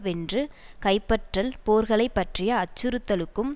வென்று கைப்பற்றல் போர்களைப் பற்றிய அச்சுறுத்தலுக்கும்